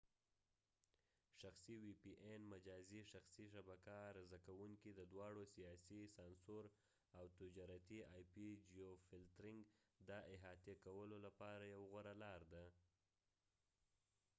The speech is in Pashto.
شخصي وی پي این مجازي شخصي شبکه عرضه کوونکي د دواړو سیاسي سانسور او تجارتي آی پی جیوفلترنګ د احاطه کولو لپاره یو غوره لار ده